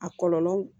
A kɔlɔlɔ